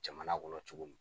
Jamana kɔnɔ cogo min